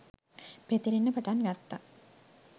පැතිරෙන්න පටන් ගත්තා